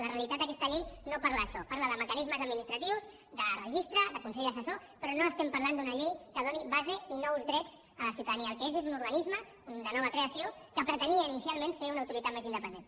la realitat d’aquesta llei no parla d’això parla de mecanismes administratius de registre de consell assessor però no estem parlant d’una llei que doni base ni nous drets a la ciutadania el que és és un organisme de nova creació que pretenia inicialment ser una autoritat més independent